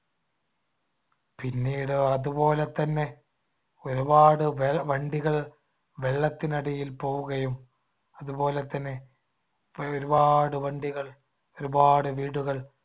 പിന്നീട് അതുപോലെതന്നെ ഒരുപാടു വെ~ വണ്ടികൾ വെള്ളത്തിനടിയിൽ പോവുകയും അതുപോലെതന്നെ ഇപ്പൊഴൊരുപാട് വണ്ടികൾ ഒരുപാട് വീടുകൾ